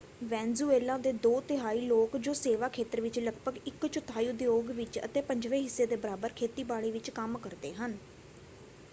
Venezuela ਦੇ ਦੋ ਤਿਹਾਈ ਲੋਕ ਜੋ ਸੇਵਾ ਖੇਤਰ ਵਿੱਚ ਲਗਭਗ ਇੱਕ ਚੌਥਾਈ ਉਦਯੋਗ ਵਿੱਚ ਅਤੇ ਪੰਜਵੇਂ ਹਿੱਸੇ ਦੇ ਬਰਾਬਰ ਖੇਤੀਬਾੜੀ ਵਿੱਚ ਕੰਮ ਕਰਦੇ ਹਨ।